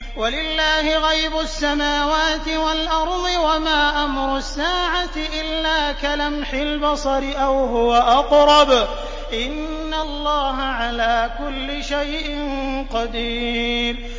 وَلِلَّهِ غَيْبُ السَّمَاوَاتِ وَالْأَرْضِ ۚ وَمَا أَمْرُ السَّاعَةِ إِلَّا كَلَمْحِ الْبَصَرِ أَوْ هُوَ أَقْرَبُ ۚ إِنَّ اللَّهَ عَلَىٰ كُلِّ شَيْءٍ قَدِيرٌ